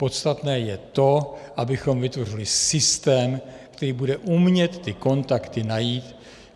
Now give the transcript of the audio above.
Podstatné je to, abychom vytvořili systém, který bude umět ty kontakty najít.